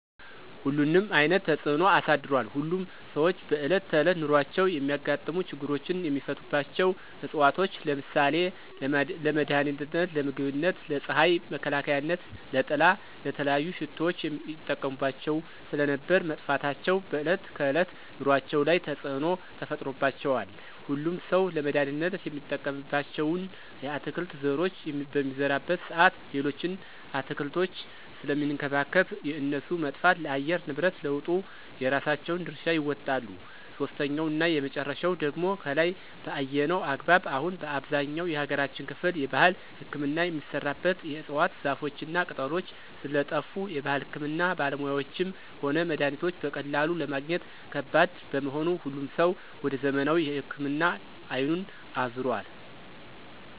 ሁሉንም አይነት ተፅኖ አሳድሯል። ሁሉም ሰዎች በእለት ተዕለት ኑሯቸው የሚያጋጥሙ ችግሮችን የሚፈቱባቸው ዕፅዋቶች ለምሳሌ :- ለመድሀኒትነት, ለምግብነት, ለፅሀይ መከላከያነት/ጥላ/,ለተለያዩ ሽቶዎች ይጠቀሙባቸው ስለነበር መጥፋታቸው በዕለት ከዕለት ኑሮአቸው ላይ ተፅዕኖ ተፈጥሮባቸዋል። ሁሉም ሠው ለመድሀኒትነት የሚጠቀምባቸውን የአትክልት ዘሮች በሚዘራበት ሰአት ሌሎችን አትክልቶች ስለሚንከባከብ የእነሱ መጥፋት ለአየር ንብረት ለውጡ የራሳቸውን ድርሻ ይወጣሉ። ሶስተኛውና የመጨረሻው ደግሞ ከላይ በአየነው አግባብ አሁን በአብዛኛው የሀገራችን ክፍል የባህል ህክምና የሚሰራበት የዕፅዋት ዘሮችና ቅጠሎች ስለጠፍ የባህል ህክምና ባለሙያዎችም ሆነ መድሀኒቶች በቀላሉ ለማግኘት ከባድ በመሆኑ ሁሉም ሰው ወደ ዘመናዊ ህክምና አይኑን አዞሯል።